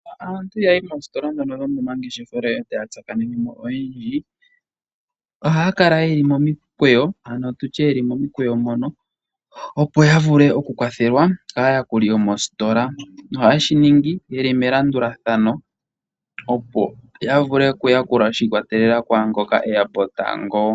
Uuna aantu yayi moositola ndhono dhomomangeshefelo etaya tsakanenemo oyendji , ohaya kala ye li momikweyo, ano tutye yeli momikweyo mono opo ya vule oku kwathelwa kaayakuli yomositola. Ohaye shi ningi ye li melandulathano opo ya vile okuyakulwa shi ikwatelela ku ngoka eya po tango.